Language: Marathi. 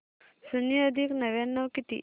शून्य अधिक नव्याण्णव किती